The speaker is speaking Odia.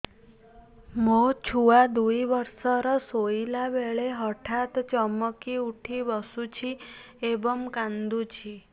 ମୋ ଛୁଆ ଦୁଇ ବର୍ଷର ଶୋଇଲା ବେଳେ ହଠାତ୍ ଚମକି ଉଠି ବସୁଛି ଏବଂ କାଂଦୁଛି